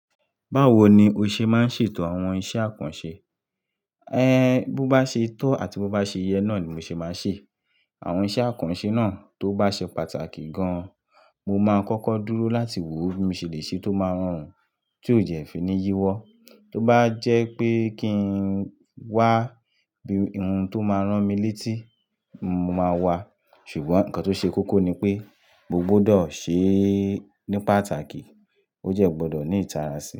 Báwo ni o ṣe máa ń ṣètò àwọn iṣẹ́ àkànṣe? Bó bá ṣe tọ́ àti bó bá ṣe iye náà ni mo ṣe máa ń ṣe. Àwọn iṣẹ́ àkànṣe náà tó bá ṣe pàtàkì gan-an, mo máa kọ́kọ́ dúró láti wo bí mo ṣe le ṣe tó máa rọrùn, tí ó de fi ní yíwọ́. Tó bá jẹ́ pé kí ń wá bí ohun tó máa rán mi létí, mo máa wá. Ṣùgbọ́n nǹkan tó ṣe kókó ni pé, mo gbodo ṣe ní pàtàkì, ó jẹ́ gbọdọ̀ ní ìtara sí.